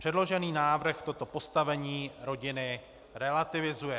Předložený návrh toto postavení rodiny relativizuje.